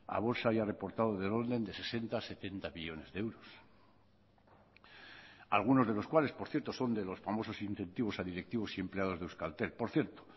a bolsa haya reportado del orden de sesenta a setenta millónes de euros algunos de los cuales por cierto son de los famosos incentivos a directivos y empleados de euskaltel por cierto